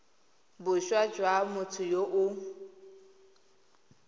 boswa jwa motho yo o